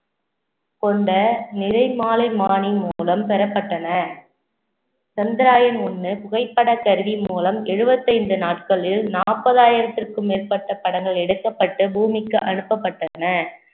கொண்ட நிறைமாலைமானி மூலம் பெறப்பட்டன சந்திரயான் ஒண்ணு புகைப்பட கருவி மூலம் எழுவத்தைந்து நாட்களில் நாற்பதாயிரத்திற்கும் மேற்பட்ட படங்கள் எடுக்கப்பட்டு பூமிக்கு அனுப்பப்பட்டன